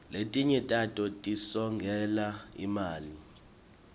letinye tato tisongela imali